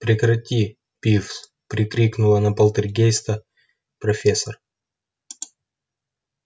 прекрати пивз прикрикнула на полтергейста профессор